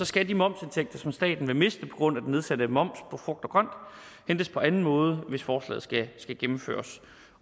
skal de momsindtægter som staten vil miste på grund af den nedsatte moms på frugt og grønt hentes på anden måde hvis forslaget skal gennemføres